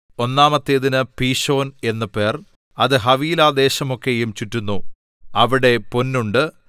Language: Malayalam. ഒന്നാമത്തേതിന് പീശോൻ എന്ന് പേർ അത് ഹവീലാദേശമൊക്കെയും ചുറ്റുന്നു അവിടെ പൊന്നുണ്ട്